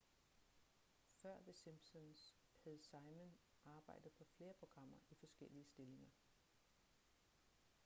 før the simpsons havde simon arbejdet på flere programmer i forskellige stillinger